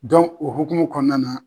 o hukumu kɔnɔna na.